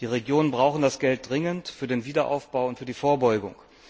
Die Regionen brauchen das Geld dringend für den Wiederaufbau und für die Vorbeugung.